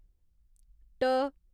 ट